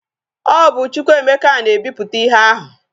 O bu Chukwuemeka na e biputa ihe ahu